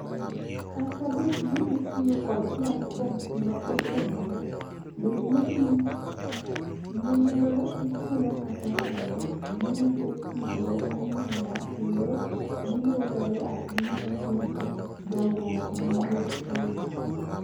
Kata bedni itiyo kod platforms ma otegno (bedni gin ma ichulo kata nono) gin effective ne omenda kendo ginyuolore ahinya mohingo dongruok manie eiot.